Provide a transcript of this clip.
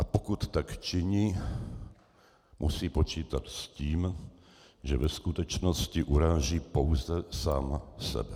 A pokud tak činí, musí počítat s tím, že ve skutečnosti uráží pouze sám sebe.